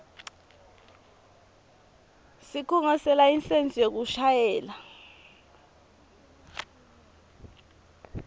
sikhungo selayisensi yekushayela